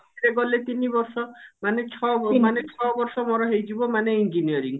ରେ ଗଲେ ତିନି ବର୍ଷ ମାନେ ଛଅ ମାନେ ଛଅ ବର୍ଷ ମୋର ହେଇଯିବ ମାନେ engineering